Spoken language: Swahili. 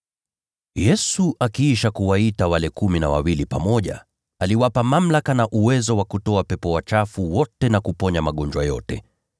Yesu kisha akawaita wale kumi na wawili pamoja, akawapa mamlaka na uwezo wa kutoa pepo wachafu wote na kuponya magonjwa yote,